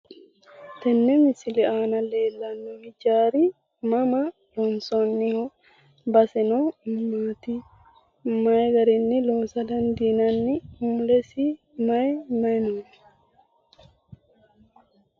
Tenne misile aana leellanno ijaari mama loonsoonniho? Baseno mamaati? Mayi garinni loosa dandiinanni mulesi Mayi Mayi no.